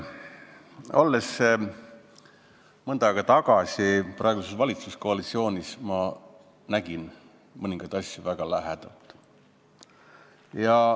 Olles mõnda aega tagasi praeguses valitsuskoalitsioonis, nägin ma mõningaid asju väga lähedalt.